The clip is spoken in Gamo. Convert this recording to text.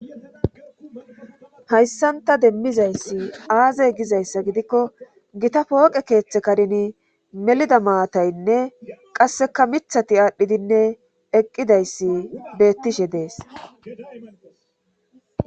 Hayssanta demmizayssi aazey gizayssa gidikko gita pooqe keeththe karini melida maataynne qasseka mithati aadhdhidinne eqqidayssi beettishe dees.